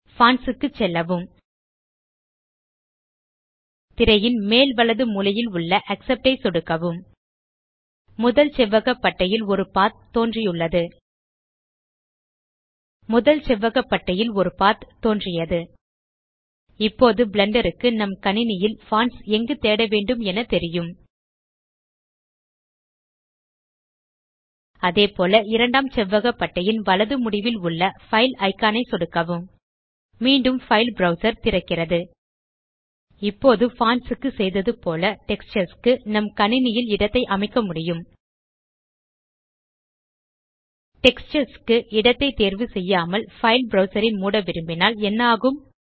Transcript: fonts க்கு செல்லவும் திரையின் மேல் வலது மூலையில் உள்ள ஆக்செப்ட் ஐ சொடுக்கவும் முதல் செவ்வக பட்டையில் ஒரு பத் தோன்றியது இப்போது பிளெண்டர் க்கு நம் கணினியில் பான்ட்ஸ் எங்கு தேடவேண்டும் என தெரியும் அதேபோல் இரண்டாம் செவ்வக பட்டையின் வலது முடிவில் உள்ள பைல் இக்கான் ஐ சொடுக்கவும் மீண்டும் பைல் ப்ரவ்சர் திறக்கிறது இப்போது பான்ட்ஸ் க்கு செய்தது போல டெக்ஸ்சர்ஸ் க்கு நம் கணினியில் இடத்தை அமைக்க முடியும் டெக்ஸ்சர்ஸ் க்கு இடத்தை தேர்வு செய்யாமல் பைல் ப்ரவ்சர் ஐ மூட விரும்பினால் என்ன ஆகும்